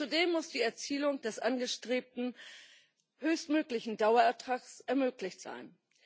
Zudem muss die Erzielung des angestrebten höchstmöglichen Dauerertrags ermöglicht sein.